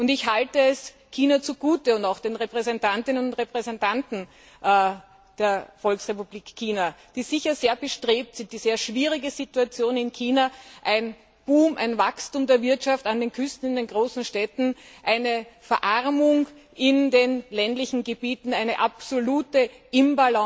Ich halte es China und auch den Repräsentantinnen und Repräsentanten der Volksrepublik China zugute, dass sie sicher sehr bestrebt sind, die sehr schwierige Situation in China einen Boom, ein Wachstum der Wirtschaft an den Küsten und in den großen Städten, eine Verarmung in den ländlichen Gebieten, ein absolutes Ungleichgewicht